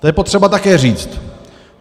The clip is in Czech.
To je potřeba také říct.